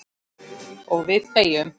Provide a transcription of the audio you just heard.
Og við þegjum.